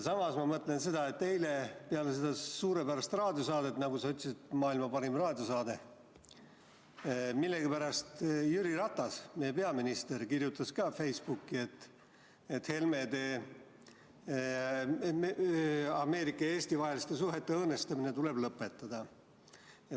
Samas ma mõtlen, et eile peale seda suurepärast raadiosaadet – nagu sa ütlesid, pärast maailma parimat raadiosaadet – millegipärast Jüri Ratas, meie peaminister, kirjutas Facebookis, et Helmedel tuleb Ameerika ja Eesti suhete õõnestamine lõpetada.